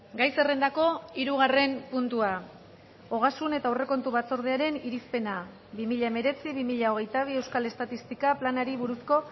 gai zerrendako hirugarren puntua ogasun eta aurrekontu batzordearen irizpena bi mila hemeretzi bi mila hogeita bi euskal estatistika planari buruzko